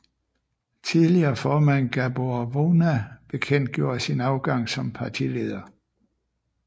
Tidligere formand Gábor Vona bekendtgjorde sin afgang som partileder